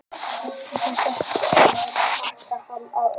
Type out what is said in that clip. Veistu það ekki hrópaði Ólafía Tólafía jafn hátt og áður.